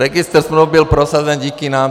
Registr smluv byl prosazen díky nám.